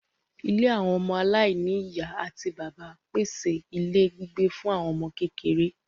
Ilé àwọn ọmọ aláìní ìyá àti bàbá pèsè ilé gbígbé fún àwọn ọmọ kékeré